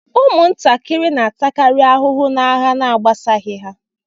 Ụmụntakịrị na-atakari ahụhụ n'agha na-agbasaghi ha.